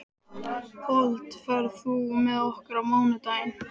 Fold, ferð þú með okkur á mánudaginn?